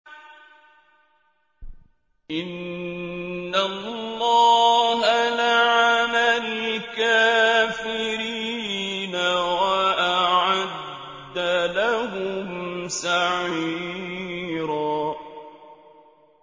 إِنَّ اللَّهَ لَعَنَ الْكَافِرِينَ وَأَعَدَّ لَهُمْ سَعِيرًا